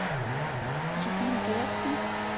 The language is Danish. Josefine Gertsen